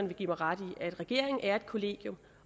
vil give mig ret i at regeringen er et kollegium